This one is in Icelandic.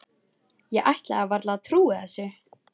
Ég ætlaði varla að trúa þessu.